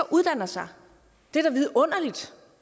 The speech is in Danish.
uddanner sig det er da vidunderligt